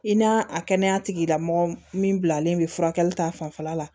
I n'a kɛnɛya tigilamɔgɔ min bilalen bɛ furakɛli ta fanfɛla la